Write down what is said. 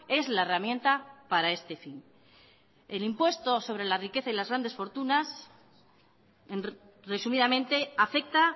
es la herramienta para este fin el impuesto sobre la riqueza y las grandes fortunas resumidamente afecta